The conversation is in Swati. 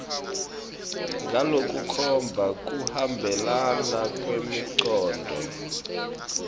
ngalokukhomba kuhambelana kwemicondvo